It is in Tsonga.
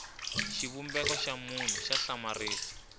xivumbeko xa munhu xa hlamarisa